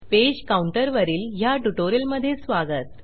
page counter वरील ह्या ट्युटोरियलमधे स्वागत